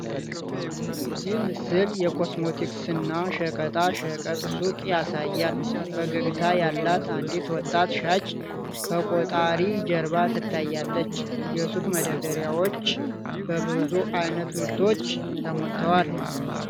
ይህ ምስል የኮስሞቲክስና ሸቀጣ ሸቀጥ ሱቅ ያሳያል:: ፈገግታ ያላት አንዲት ወጣት ሻጭ ከቆጣሪ ጀርባ ትታያለች:: የሱቁ መደርደሪያዎች በብዙ ዓይነት ምርቶች ተሞልተዋል::